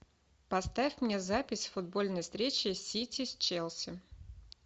поставь мне запись футбольной встречи сити с челси